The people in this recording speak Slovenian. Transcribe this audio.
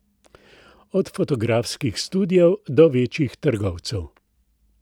Od fotografskih studiev do večjih trgovcev.